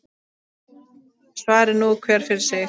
Svari nú hver fyrir sig.